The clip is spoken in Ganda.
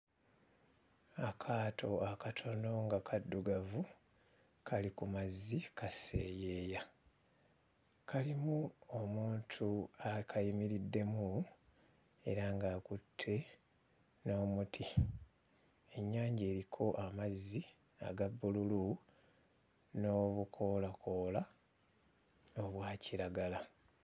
Akaato akatono nga kaddugavu kali ku mazzi kaseeyeeya, kalimu omuntu akayimiriddemu era ng'akutte n'omuti. Ennyanja eriko amazzi aga bbululu n'obukoolakoola obwa kiragala.